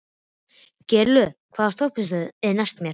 Geirlöð, hvaða stoppistöð er næst mér?